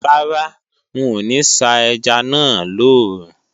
Rárá, n ò ní sá ẹja náà lòòrùn